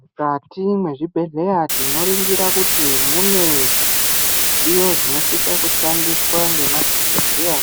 Mukati mezvibhedhlera tinoringira kuti mune zvidziyo zvinosise kushandiswa ngemadhogodheya